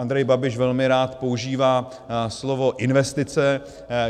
Andrej Babiš velmi rád používá slovo investice.